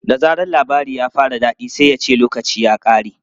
Da zaran labarin ya fara daɗi sai ya ce 'lokaci ya ƙare!'